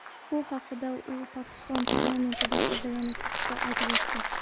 Bu haqda u Pokiston parlamentida so‘zlagan nutqida aytib o‘tdi.